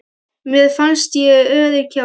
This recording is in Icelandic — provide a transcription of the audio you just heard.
Mér fannst ég örugg hjá þeim.